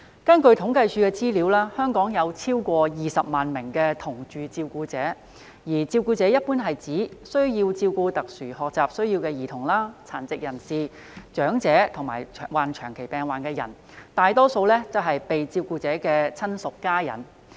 根據政府統計處的資料，香港有超過20萬名"同住照顧者"，而照顧者一般是指需要照顧有特殊學習需要的兒童、殘疾人士、長者及長期病患人士的人，大多數為被照顧者的親屬/家人。